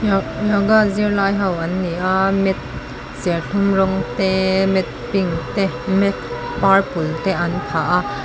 yoga zir lai ho an ni a mat serthlum rawng te mat pink te mat purple te an phah a.